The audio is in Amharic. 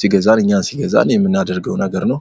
ሲገዛን የምናደርገው ነገር ነው።